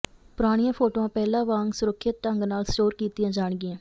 ਪੁਰਾਣੀਆਂ ਫੋਟੋਆਂ ਪਹਿਲਾਂ ਵਾਂਗ ਸੁਰੱਖਿਅਤ ਢੰਗ ਨਾਲ ਸਟੋਰ ਕੀਤੀਆਂ ਜਾਣਗੀਆਂ